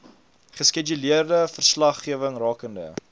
geskeduleerde verslaggewing rakende